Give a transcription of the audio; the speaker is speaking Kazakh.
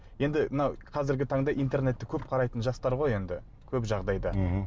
енді мына қазіргі таңда интернетті көп қарайтын жастар ғой енді көп жағдайда мхм